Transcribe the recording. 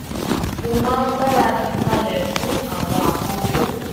mo máa ń gbáradì kalẹ fún àwọn àkókò